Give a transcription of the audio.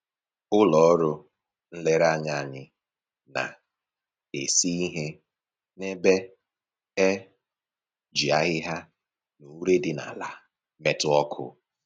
Ụlọ ọrụ nlereanya anyị na-esi ihe n'ebe e ji ahịhịa na ure dị n'ala metụ ọkụ